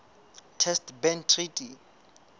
test ban treaty